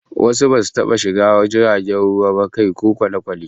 Wasu basu ttaba shiga wani jirgin ruwa ba, kai ko da kwale-kwale